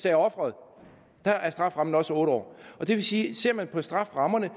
af offeret der er strafferammen også otte år det vil sige at ser man på strafferammerne